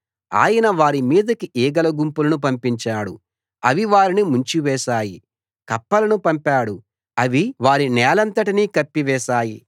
ఆయన వారి మీదికి ఈగల గుంపులను పంపించాడు అవి వారిని ముంచివేశాయి కప్పలను పంపాడు అవి వారి నేలంతటినీ కప్పివేశాయి